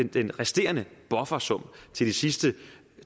den resterende buffersum til de sidste